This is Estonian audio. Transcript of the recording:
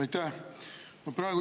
Aitäh!